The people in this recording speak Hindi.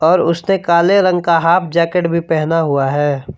और उसने काले रंग का हाफ जैकेट भी पहना हुआ है।